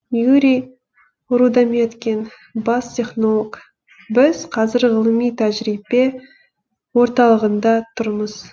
юрий рудометкин бас технолог біз қазір ғылыми тәжірибе орталығында тұрмыз